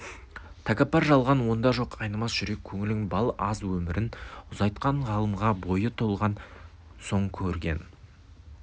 тәкаппар жалған онда жоқ айнымас жүрек көңілің бал аз өмірін ұзайтқан ғылымға бойы толған соң көрген